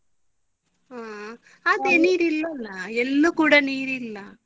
ಹಾ ಅದೇ ನೀರಿಲ್ಲಲ್ಲ ಎಲ್ಲೂ ಕೂಡ ನೀರಿಲ್ಲ.